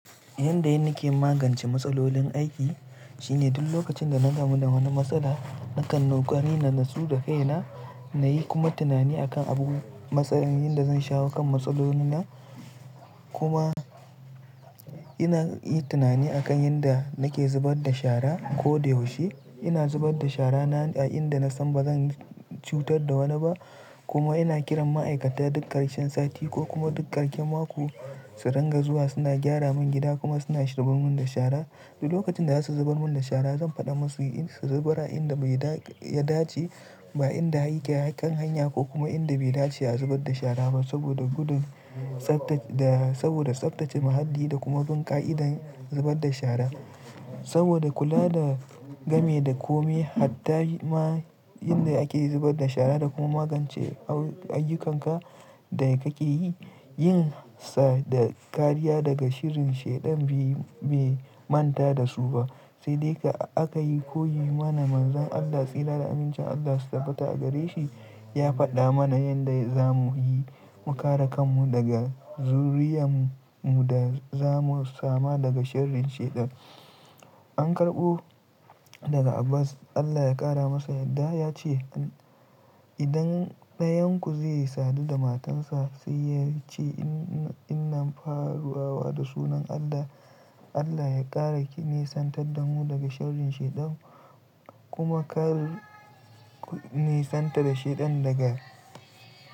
Yanda ina ke magance matsalolin aiki shine duk lokacin da na gamu da wani matsala nakan nokari na natsu da kaina na yi kuma tunani akan abubuwan matsayin yanda zan shawo kan matsaloli na kuma ina yin tunani akan yanda nake zubar da shara ko da yaushe ina zubar da shara na a inda na san bazan cutar da wani ba kuma ina kiran ma'aikata duk ƙarshen sati ko kuma duk ƙarshen mako su ranga zuwa suna gyara mun gida kuma suna shubarmun da shara duk lokacin da za su zubar mun da shara zan faɗa musu su zuba inda bai ya dace ba inda yake kan hanya ko kuma inda bai dace a zubar da shara ba saboda gudun tsafta da saboda tsaftace muhalli da kuma bin ƙa'idar zubar da shara saboda kula da game da komai hatta ma inda ake zubar da shara da kuma magance ayyukanka da kake yi yin sa da kariya daga shirin shaidan bai manta da su ba sai dai ka aka yi koyi mana manzon Allah tsira da amincin Allah su tabbata a gare shi ya faɗa mana yanda zamu yi mu kare kanmu daga zuriyanmu da zamu samu daga shirin shaidan an karɓo daga Abbas Allah ya ƙara masa yadda ya ce idan ɗayan ku zaiyi sadu da matansa sai yace innan faruwa da sunan Allah Allah ya ƙara ki nisantar danmu daga sharin shaidan kuma kare ku nisantar da shaidan daga.